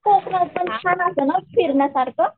कोकणात पण छान असतं ना फिरण्यासारखं.